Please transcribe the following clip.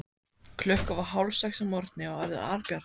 Klukkan var hálfsex að morgni og orðið albjart.